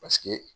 Paseke